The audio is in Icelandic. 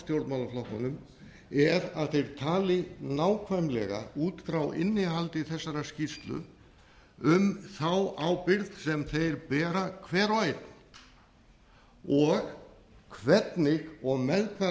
stjórnmálaflokkunum er að þeir tali nákvæmlega út frá innihaldi þessarar skýrslu um þá ábyrgð sem þeir bera hver og einn og hvernig og með hvaða